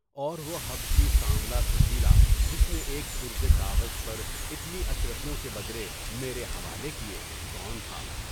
اور وہ حبشی سانولا سجیلا جس نے ایک پرزہ کاغذ پر اتنی اشر فیوں کے بدلے میرے حوالے کیے، کون تھا؟